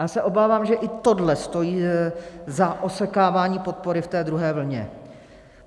Já se obávám, že i tohle stojí za osekáváním podpory v té druhé vlně.